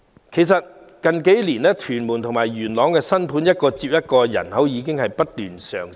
其實過去數年，屯門和元朗的新盤一個接一個推出，區內人口已經上升。